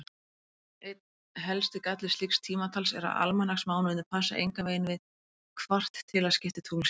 Einn helsti galli slíks tímatals er að almanaksmánuðirnir passa engan veginn við kvartilaskipti tunglsins.